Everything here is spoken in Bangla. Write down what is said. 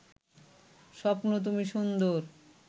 স্বপ্ন তুমি সুন্দর